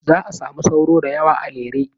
Za a samu sauro da yawa a Lere.